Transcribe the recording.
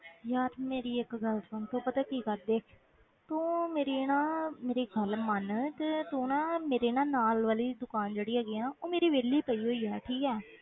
ਯਾਰ ਮੇਰੀ ਇੱਕ ਗੱਲ ਸੁਣ ਤੂੰ ਪਤਾ ਕੀ ਕਰ ਦੇਖ, ਤੂੰ ਮੇਰੀ ਨਾ ਮੇਰੀ ਗੱਲ ਮੰਨ ਤੇ ਤੂੰ ਨਾ ਮੇਰੀ ਨਾ ਨਾਲ ਵਾਲੀ ਦੁਕਾਨ ਜਿਹੜੀ ਹੈਗੀ ਹੈ ਨਾ ਉਹ ਮੇਰੀ ਵਿਹਲੀ ਪਈ ਹੋਈ ਹੈ ਠੀਕ ਹੈ